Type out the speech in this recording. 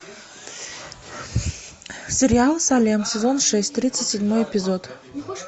сериал салем сезон шесть тридцать седьмой эпизод